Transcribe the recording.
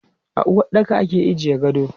A uwaɗɗaka ake ajiye gado.